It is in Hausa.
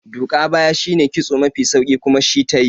Duka baya shine kitso mafi sauki kuma shi tayi